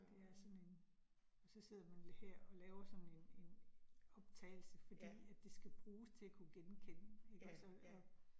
Det er sådan en, så sidder man her, og laver sådan en en optagelse fordi at det skal bruges til at kunne genkende ikke også og og